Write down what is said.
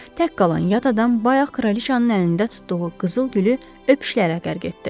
Tək qalan yad adam bayaq kraliçanın əlində tutduğu qızıl gülü öpüşlərə qərq etdi.